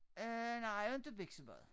Øh nej inte biksemad